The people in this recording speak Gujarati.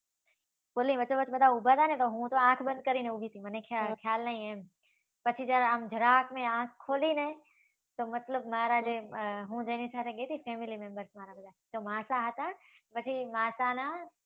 પુલની વચ્ચોવચ બધા ઉભા રહ્યા ને તો હું તો આંખ બંધ કરીને ઊભી હતી. મને ખ્યાલ નહી એમ. પછી જ્યારે આમ જરાકને મે આંખ ખોલીને, તો મતલબ મારા, અમ હુ daddy સાથે ગઈ તી ને, family member સાથે, તો માસા હતા. પછી માસાના